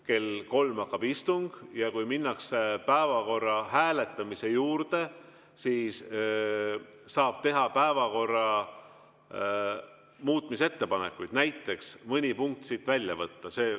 Kell kolm hakkab istung ja kui minnakse päevakorra hääletamise juurde, siis saab teha päevakorra muutmise ettepanekuid, näiteks mõni punkt välja võtta.